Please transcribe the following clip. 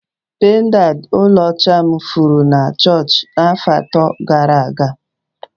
Pendanti ọlaọcha m furu na chọọchị afọ atọ gara aga.